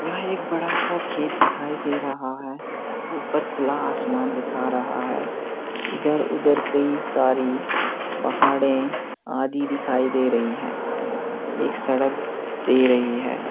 यहाँ एक बड़ा सा खेत दिखाई दे रहा है। ऊपर खुला आसमान दिखा रहा है इधर-उधर कई सारी पहाड़ें आदि दिखाई दे रही हैं। एक सड़क दे रही है।